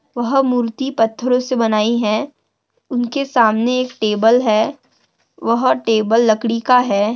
वह मूर्ति पत्थरों से बनाई है उनके सामने एक टेबल है वह टेबल लकड़ी का है।